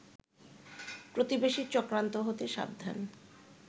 প্রতিবেশীর চক্রান্ত হতে সাবধান